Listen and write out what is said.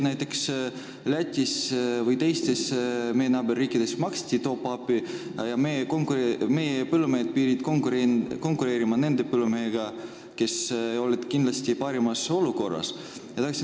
Näiteks maksti Lätis ja teistes meie naaberriikides top-up'i ja meie põllumehed pidid konkureerima nende põllumeestega, kes olid kindlasti paremas olukorras.